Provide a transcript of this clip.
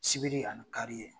Sibiri ani kari ye.